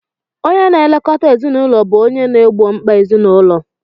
Onye na-elekọta ezinụlọ bụ onye na-egbo mkpa ezinụlọ